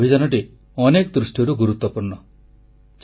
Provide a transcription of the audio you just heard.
2 ଅଭିଯାନଟି ଅନେକ ଦୃଷ୍ଟିରୁ ଗୁରୁତ୍ୱପୂର୍ଣ୍ଣ